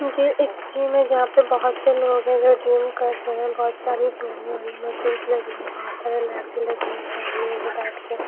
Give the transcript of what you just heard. मुझे एक जिम है जहां पे बहुत से लोग है जो जिम कर रहे हैं बहुत सारी और बहुत लग रही है बहोत सारी लाइटे लगी हुई हैं काम में बैठ के--